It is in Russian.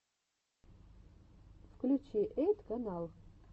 включи эйт канал